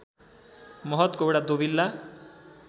महत गौडा दोविल्ला